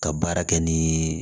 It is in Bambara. Ka baara kɛ ni